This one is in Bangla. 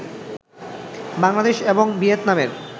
বাংলাদেশ এবং ভিয়েতনামের